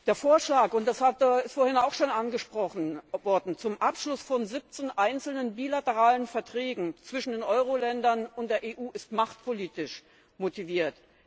Der Vorschlag das wurde vorhin auch schon angesprochen zum Abschluss von 17 einzelnen bilateralen Verträgen zwischen den Euro Ländern und der EU ist machtpolitisch motiviert.